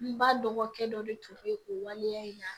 N ba dɔgɔkɛ dɔ de tun bɛ o waleya in na